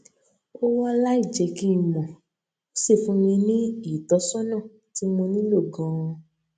ó wá láìjé kí n mò ó sì fún mi ní ìtósónà tí mo nílò ganan